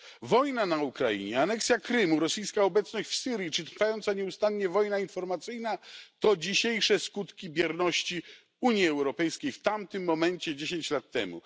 Wojna na Ukrainie, aneksja Krymu, rosyjska obecność w Syrii czy trwająca nieustannie wojna informacyjna to dzisiejsze skutki bierności Unii Europejskiej w tamtym momencie, 10 lat temu.